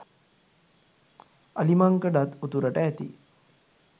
අලිමංකඩත් උතුරට ඇති